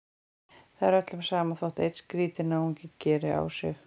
Það er öllum sama þótt einn skrýtinn náungi geri á sig.